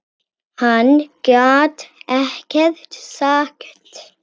Hann gat ekkert sagt.